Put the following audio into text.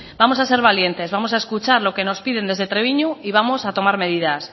vamos a ser valientes vamos a escuchar lo que nos piden desde trebiñu y vamos a tomar medidas